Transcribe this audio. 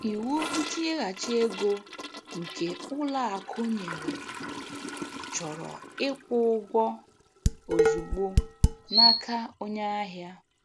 Iwu ntighachi ego, nke ụlọ akụ nyere, chọrọ ịkwụ ụgwọ ozugbo n'aka onye ahịa.